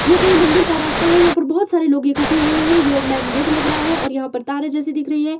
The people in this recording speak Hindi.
ये कोई मंदिर का रास्ता है यहां पर बहुत सारे लोग इकठ्ठे हुए हैं यो मैन गेट लग रहा है और यहां पर तारे जैसे दिख रही हैं।